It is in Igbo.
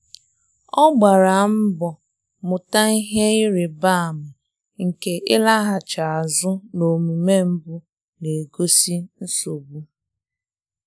Ọ gbara mbọ mụta ihe ịrịba ama nke ịlaghachi azụ na omume mbụ na-egosi nsogbu.